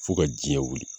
Fo ka jiɲɛ wuli